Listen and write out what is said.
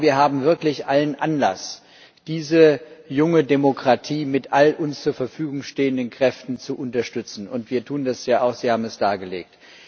Ich glaube, wir haben wirklich allen Anlass, diese junge Demokratie mit allen uns zur Verfügung stehenden Kräften zu unterstützen, und wir tun das ja auch, Sie haben es dargelegt.